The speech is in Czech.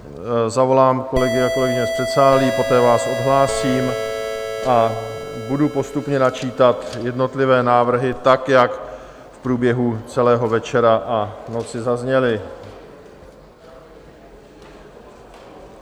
Zavolám kolegy a kolegyně z předsálí, poté vás odhlásím a budu postupně načítat jednotlivé návrhy, tak jak v průběhu celého večera a noci zazněly.